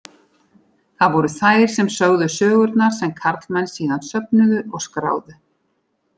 Það voru þær sem sögðu sögurnar sem karlmenn síðan söfnuðu og skráðu.